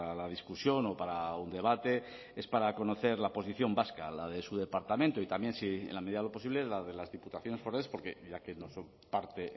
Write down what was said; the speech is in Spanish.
la discusión o para un debate es para conocer la posición vasca la de su departamento y también si en la medida de lo posible la de las diputaciones forales porque ya que no son parte